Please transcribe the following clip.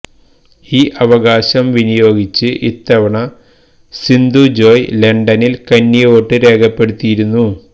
ഈ അവകാശം വിനിയോഗിച്ച് ഇത്തവണ സിന്ധു ജോയ് ലണ്ടനില് കന്നി വോട്ടും രേഖപ്പെടുത്തിയിരുന്നു